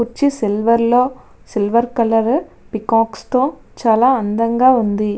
చుట్టు సిల్వర్ లో silver colour peacock తో చాలా అందంగా ఉంది.